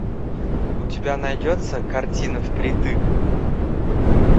у тебя найдется картина впритык